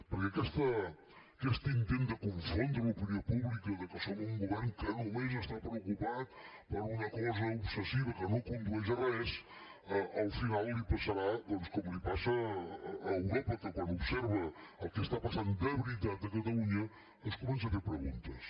perquè aquest intent de confondre l’opinió pública que som un govern que només està preocupat per una cosa obsessiva que no condueix a res al final li passarà doncs com li passa a europa que quan observa el que està passant de veritat a catalunya es comença a fer preguntes